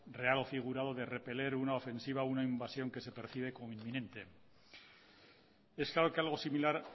real o figurado de repeler una ofensiva o una invasión que se percibe como inminente es claro que algo similar